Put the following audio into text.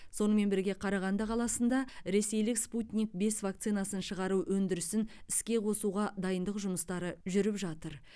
сонымен бірге қарағанды қаласында ресейлік спутник бес вакцинасын шығару өндірісін іске қосуға дайындық жұмыстары жүріп жатыр